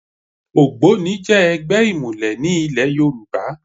ÒgbónI jẹ́ ẹgbẹ́ ìmùlẹ̀ ní ìlẹ̀ Yorùbá